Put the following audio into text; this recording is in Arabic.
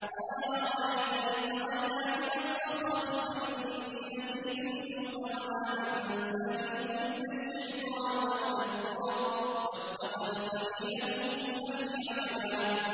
قَالَ أَرَأَيْتَ إِذْ أَوَيْنَا إِلَى الصَّخْرَةِ فَإِنِّي نَسِيتُ الْحُوتَ وَمَا أَنسَانِيهُ إِلَّا الشَّيْطَانُ أَنْ أَذْكُرَهُ ۚ وَاتَّخَذَ سَبِيلَهُ فِي الْبَحْرِ عَجَبًا